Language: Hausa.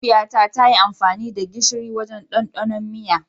Mahaifiyata ta yi amfani da gishiri wajen ɗandanon miya.